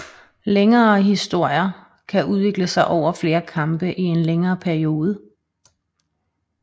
Længere historier kan udvikle sig over flere kampe i en længere periode